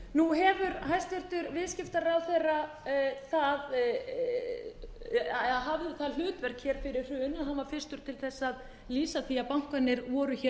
nú hafði hæstvirtur viðskiptaráðherra það hlutverk fyrir hrun að hann var fyrstur til að lýsa því að bankarnir voru